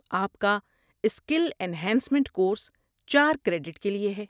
آپ کا skill enhancement course چار کریڈٹ کے لیے ہے۔